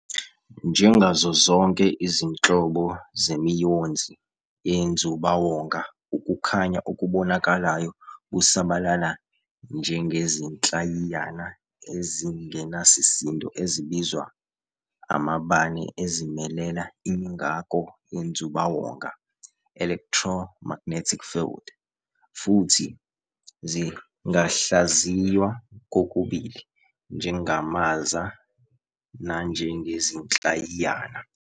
Njengazo zonke izinhlobo zemiyonzi yenzubawonga, ukukhanya okubonakalayo busabalala ngezinhlayiyana ezingenasisindo ezibizwa amabane ezimelela imingako yenzubawonga, electromagnetic field, futhi zingahlaziywa kokubili njengamaza nanjengezinhlayiyana.